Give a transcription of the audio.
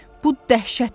Bu dəhşət idi.